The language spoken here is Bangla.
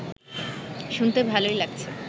শুনতে ভালোই লাগছে